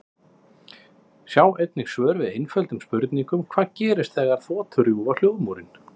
Sjá einnig svör við eftirtöldum spurningum: Hvað gerist þegar þotur rjúfa hljóðmúrinn?